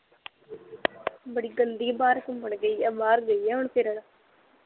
ਬੜੀ ਗੰਦੀ ਬਾਹਰ ਘੁਮੰਣ ਗਈ ਆ, ਬਾਹਰ ਗਈ ਆ ਹੁਣ ਫਿਰਨ